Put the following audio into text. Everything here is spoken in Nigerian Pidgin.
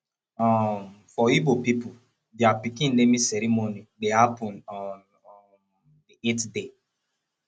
um for igbo pipol dia pikin naming ceremony dey hapun on um di eight day